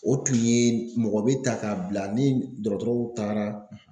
O tun ye mɔgɔ bɛ ta k'a bila ni dɔgɔtɔrɔw taara